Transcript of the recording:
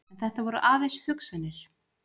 En þetta voru aðeins hugsanir.